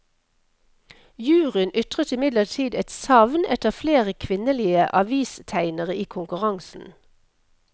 Juryen ytret imidlertid et savn etter flere kvinnelige avistegnere i konkurransen.